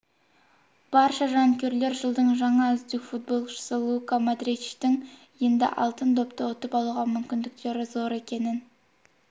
барша жанкүйерлер жылдың жаңа үздік футболшысы лука модричтің енді алтын допты ұтып алуға мүмкіндіктері зор екенін